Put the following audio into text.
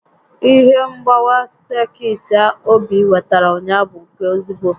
Ihe mgbawa sekit ahụ Obi wetara ụnyaahụ bụ nke ezigbo